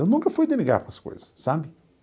Eu nunca fui de ligar para as coisas, sabe?